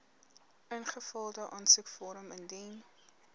ingevulde aansoekvorm indien